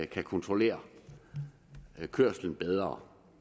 kan kontrollere kørslen bedre